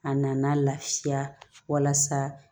A nana lafiya walasa